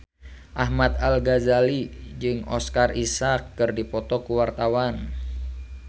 Ahmad Al-Ghazali jeung Oscar Isaac keur dipoto ku wartawan